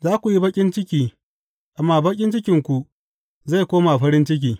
Za ku yi baƙin ciki, amma baƙin cikinku zai koma farin ciki.